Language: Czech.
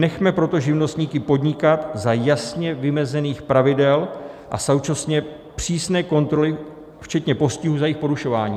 Nechme proto živnostníky podnikat za jasně vymezených pravidel a současně přísné kontroly, včetně postihů za jejich porušování.